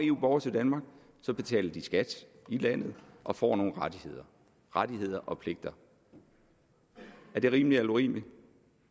eu borgere til danmark så betaler de skat i landet og får nogle rettigheder rettigheder og pligter er det rimeligt eller urimeligt